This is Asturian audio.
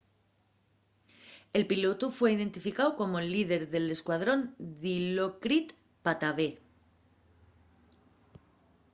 el pilotu fue identificáu como’l líder d'escuadrón dilokrit pattavee